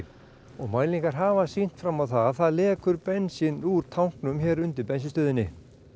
og mælingar hafa sýnt fram á það að það lekur bensín úr tanknum hér undir bensínstöðinni